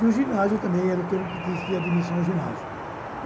E o ginásio também era o tempo que existia a admissão ao ginásio.